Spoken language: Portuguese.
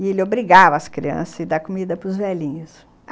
E ele obrigava as crianças a dar comida para os velhinhos.